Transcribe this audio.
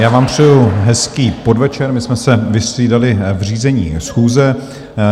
Já vám přeju hezký podvečer, my jsme se vystřídali v řízení schůze.